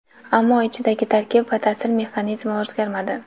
ammo ichidagi tarkib va ta’sir mexanizmi o‘zgarmadi.